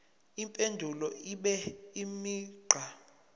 impendulo ibe imigqa